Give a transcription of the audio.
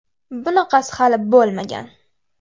Bunaqasi hali bo‘lmagan!.